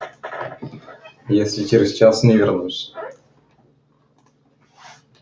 если через час не вернусь